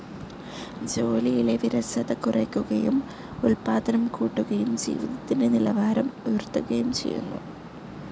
ജോലിയിലെ വിരസത കുറയ്ക്കുകയും ഉൽപാദനം കൂട്ടുകയും ജീവിതത്തിൻ്റെ നിലവാരം ഉയർത്തുകയും ചെയ്യുന്നു.